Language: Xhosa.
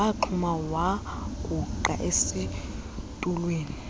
waxhuma wagungqa esitulweni